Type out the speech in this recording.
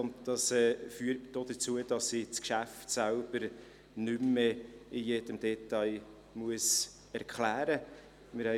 Dies führt denn auch dazu, dass ich das Geschäft als solches nicht mehr in allen Details erklären muss.